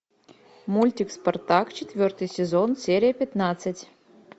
мультик спартак четвертый сезон серия пятнадцать